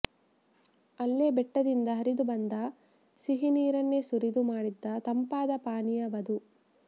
ಅಲ್ಲೇ ಬೆಟ್ಟದಿಂದ ಹರಿದು ಬಂದ ಸಿಹಿನೀರನ್ನೇ ಸುರಿದು ಮಾಡಿದ್ದ ತಂಪಾದ ಪಾನೀಯವದು